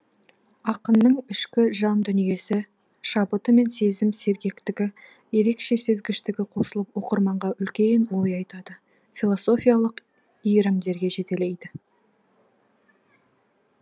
ақынның ішкі жан дүниесі шабыты мен сезім сергектігі ерекше сезгіштігі қосылып оқырманға үлкен ой айтады философиялық иірімдерге жетелейді